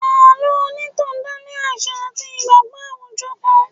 Àlọ́ onitan dale àṣà àti ìgbàgbọ́ àwùjọ kan.